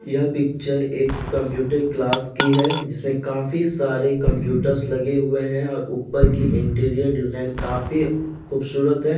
यह पिक्चर एक computer class की है जिसमें काफी सारे कम्प्यूटर्स लगे हुए हैं और ऊपर की इंटीरियर डिज़ाइन काफी खूबसूरत है।